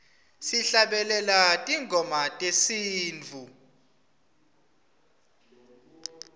sihlabelela tingoma tesintfu